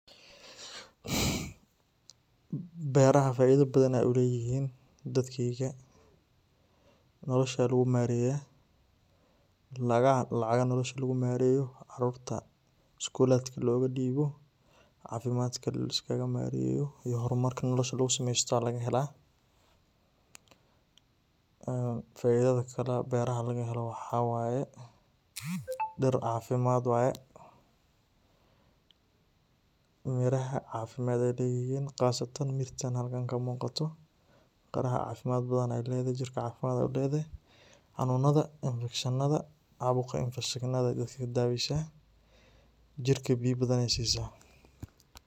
Beeraha faidha badhan ayey ulayhiin dadkeyga noolasha lagumareya lacagaha noolasha lagumareyo carurta skuladka loo gadibo cafimadka laiskaga mareyo iyo hormarka noolasha lagusamesto aya lagahelaa. Faidha kale beeraha lagahelo waxa waye beer cafimaad waye beeraha cafimaad ay leyhiin qasatan mida halkaan ka muqato; qarah cafimad badhan ay ledahay jirka cafimad ay uledahay, xanunadha, infectionada aay dadka kadaweysa jirka biyo badan ay sisa.